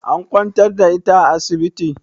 An kwantar da ita a asibiti?